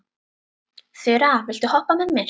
Þura, viltu hoppa með mér?